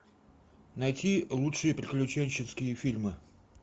найти лучшие приключенческие фильмы